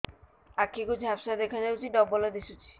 ଆଖି କୁ ଝାପ୍ସା ଦେଖାଯାଉଛି ଡବଳ ଦିଶୁଚି